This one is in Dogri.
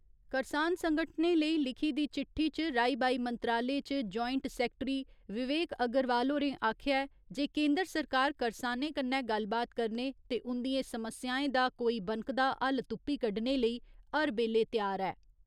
करसान संगठनें लेई लिखी दी चिट्ठी च राई बाई मंत्रालय च जोंइट सैक्टरी विवेक अग्रवाल होरें आखेआ ऐ जे केन्दर सरकार करसानें कन्नै गल्लबात करने ते उ'न्दियें समस्याएं दा कोई बनकदा हल तुप्पी कड्डने लेई हर बेल्ले त्यार ऐ।